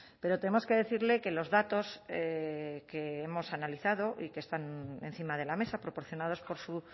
pero tenemos que decirle que los datos que hemos analizado y que están encima de la mesa proporcionados por su